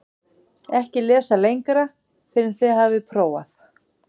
EKKI LESA LENGRA FYRR EN ÞIÐ HAFIÐ PRÓFAÐ